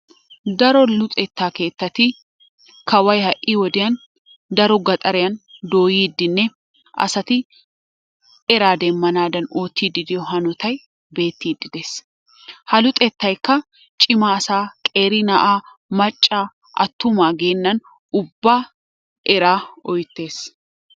Daro luxetta keettati kawoy ha'i wodiyaan daro gaxariyaan dooyidinne asatti eraa demanadan oottidi diyoo hanottay beettidi dees. Ha luxettaykka cima asaa qeeri na'aa macca attuma geenani ubaa eraa oyttes.